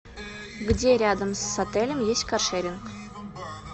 где рядом с отелем есть каршеринг